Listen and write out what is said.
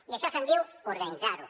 i d’això se’n diu organitzar ho